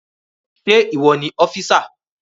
Ṣé ìwọ ni ọ́físà?